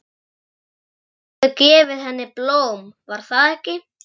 Þú hefur gefið henni blóm, var það ekki?